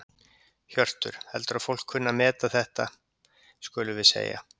Hjörtur: Heldurðu að fólk kunni að meta þetta skulum við segja?